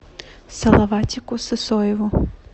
салаватику сысоеву